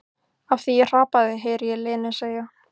Af því ég hrapaði, heyri ég Lenu segja.